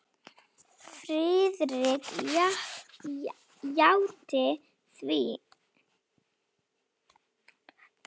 Friðrik játti því.